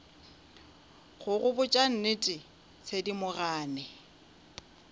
go go botša nnete thedimogane